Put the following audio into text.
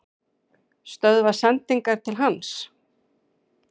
Stöðva sendingar til hans?